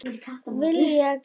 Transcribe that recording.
Vilja gleypa mig.